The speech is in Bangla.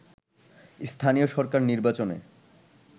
স্থানীয় সরকার নির্বাচনে